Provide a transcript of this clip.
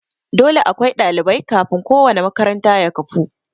Dole akwai ɗalibai kafin ko wanna makaranta ya kafu